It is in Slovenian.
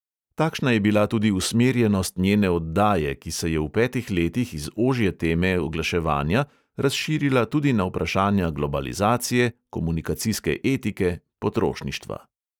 Takšna je bila tudi usmerjenost njene oddaje, ki se je v petih letih iz ožje teme oglaševanja razširila tudi na vprašanja globalizacije, komunikacijske etike, potrošništva.